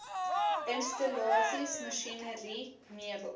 installasies masjinerie meubels